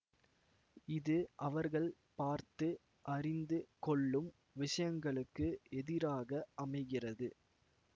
இது அவர்கள் பார்த்து அறிந்து கொள்ளும் விஷயங்களுக்கு எதிராக அமைகிறது